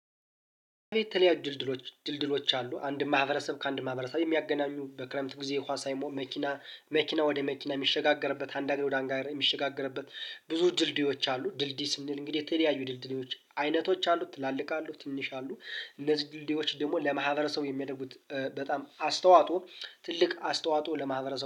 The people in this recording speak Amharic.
በየተለያዩ ድልድሎች ድልድሎች አሉ ::አንድን ማህበረሰብ ከአንድ ማህበረሰብ የሚያገና፣ በክረምት ጊዜ ውሃ ሳይቆም መኪና መኪና ወደ መኪና የሚሸጋገርበት፣ አንዳንድ ጊዜ ወደ አንጋር የሚሸጋገርበት ብዙ ድልድዮች አሉ። ድልድይ ስንል እንግዲህ የተለያዩ ድልድዮች አይነቶች አሉ። ትላልቅ አሉ ትንሽ አሉ። እነዚህ ድልድዮች ደግሞ ለማህበረሰቡ የሚያደርጉት በጣም አስተዋጦ ትልቅ አስተዋጦ ለማህበረሰቡ